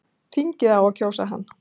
Þingið á að kjósa hann